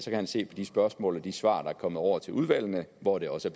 han se i de spørgsmål og de svar der er kommet over til udvalgene hvor det også